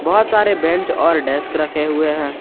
बहोत सारे बेंच और डेस्क रखे हुए हैं।